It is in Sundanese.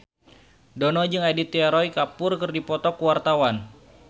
Dono jeung Aditya Roy Kapoor keur dipoto ku wartawan